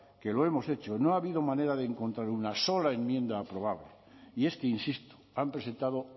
que lo hemos hecho no ha habido manera de encontrar una sola enmienda aprobable y es que insisto han presentado